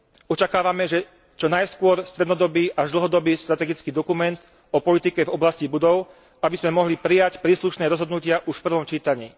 Očakávame čo najskôr strednodobý až dlhodobý strategický dokument o politike v oblasti budov, aby sme mohli prijať príslušné rozhodnutia už v prvom čítaní.